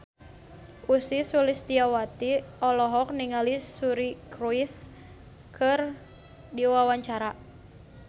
Ussy Sulistyawati olohok ningali Suri Cruise keur diwawancara